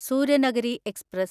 Suryanagari express